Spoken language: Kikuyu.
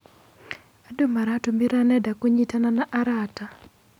Andũ maratũmĩra nenda kũnyitana na arata.